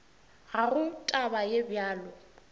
ga go taba ye bjalo